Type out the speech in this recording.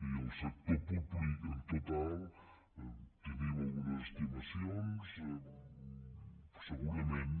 i al sector públic en total tenim algunes estimacions segurament